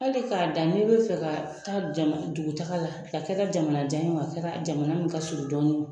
Hali k'a da n'i bɛ fɛ ka taa dugutaga la a kɛra ka jamana jan ye a kɛra jamana min ka surun dɔɔnin